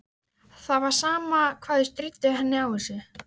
Það var sama hvað þau stríddu henni á þessu.